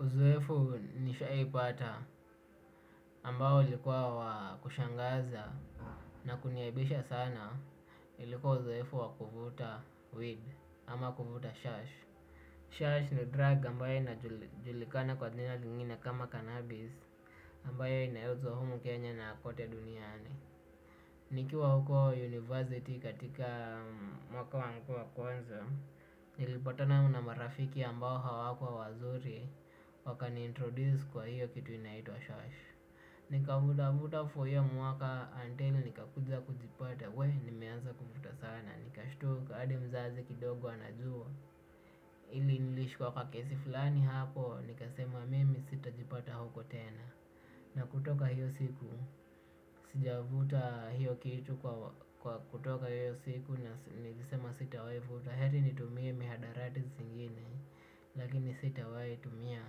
Uzoefu nishaipata ambao ulikuwa wa kushangaza na kuniaibisha sana ilikuwa uzoefu wakuvuta weed ama kuvuta shash. Shash ni drug ambayo inajulikana kwa jina lingine kama cannabis ambayo inayouzwa humu Kenya na kote duniani. Nikiwa huko university katika mwaka wangu wa kwanza, nilipatana na marafiki ambao hawakuwa wazuri wakani introduce kwa hiyo kitu inaitwa shash. Nika vutavuta for hiyo mwaka until nikakuja kujipata weh nimeanza kuvuta sana. Nikashtuka hadi mzazi kidogo anajua ili nilishikwa kwa kesi fulani hapo, nikasema mimi sitajipata huko tena. Na kutoka hiyo siku, sijavuta hiyo kitu kwa kutoka hiyo siku na nilisema sita wai vuta. Heri nitumie mihadarati zingine, lakini sita wai tumia